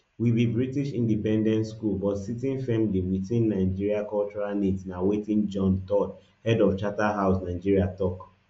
we be british independent school but sitting firmly witin nigerian cultural needs na wetin john todd head of charterhouse nigeria tok